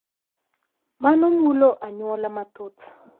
Mano mulo anyuola mathoth.